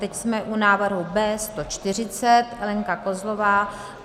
Teď jsme u návrhu B140 - Lenka Kozlová.